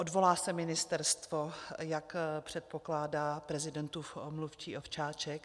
Odvolá se ministerstvo, jak předpokládá prezidentův mluvčí Ovčáček?